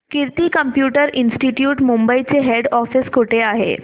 कीर्ती computer institute Mumbai चे head office कुठे आहे